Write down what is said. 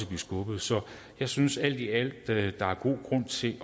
blive skubbet så jeg synes alt i alt at der er god grund til